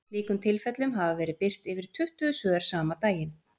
Í slíkum tilfellum hafa verið birt yfir tuttugu svör sama daginn.